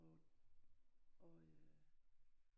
Og øh